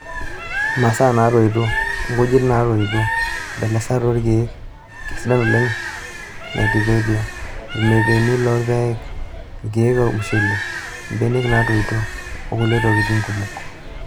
Imasaa naatoito:Nkujit naa toito, mbelelesat oorkiek (keisidain oleng' nee tithonia),irmapepeni loorpaek, nkiek ormushele, mbenek naatoito okulie tokitin kumok.